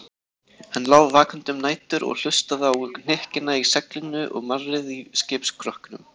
Hann lá vakandi um nætur og hlustaði á hnykkina í seglinu og marrið í skipsskrokknum.